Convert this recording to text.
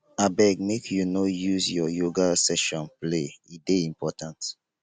abeg make you no use your yoga session play e dey important.